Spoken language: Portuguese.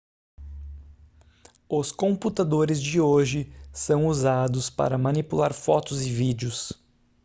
os computadores de hoje são usados para manipular fotos e vídeos